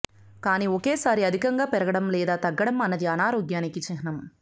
కానీ ఒకేసారి అధికంగా పెరగడం లేదా తగ్గడం అన్నది అనారోగ్యానికి చిహ్నం